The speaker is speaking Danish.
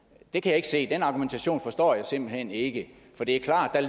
det kan jeg ikke se den argumentation forstår jeg simpelt hen ikke for det er klart at